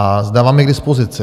Dám vám je k dispozici.